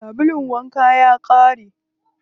Sabulun wankan ya ƙare.